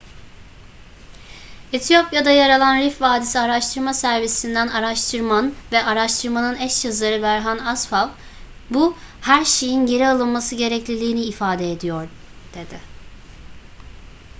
etiyopya'da yer alan rift vadisi araştırma servisi'nden araştıman ve araştırmanın eş yazarı berhane asfaw bu her şeyin geri alınması gerekliliğini ifade ediyor dedi